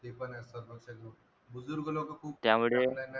बुजुर्ग लोक खूप